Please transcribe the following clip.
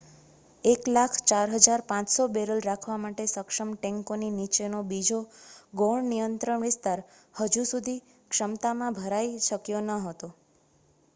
1,04,500 barrel રાખવા સક્ષમ ટેન્કોની નીચે નો બીજો ગૌણ નિયંત્રણ વિસ્તાર હજુ સુધી ક્ષમતા માં ભરાઈ શક્યો ન હતો